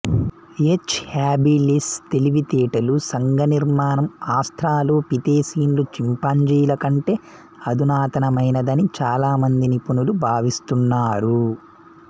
H habilis తెలివితేటలు సంఘ నిర్మాణం ఆస్ట్రలోపిథెసీన్లు చింపాంజీల కంటే అధునాతనమైనదని చాలా మంది నిపుణులు భావిస్తున్నారు